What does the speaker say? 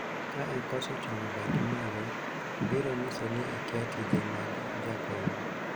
ka ikoso ting'o badi malo ,biro nyiso ni ikia tije mag jakom